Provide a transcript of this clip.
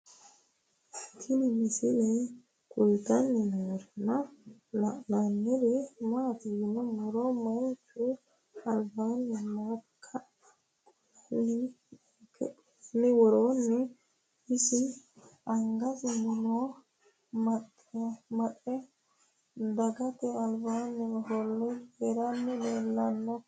Tinni misile kulittanni noorrinna la'nanniri maattiya yinummoro manchu alibbanni maakka qolenno woreenna isi angasinni nno amaxxe dagatte alibba offolle coyiirassi leelishshanno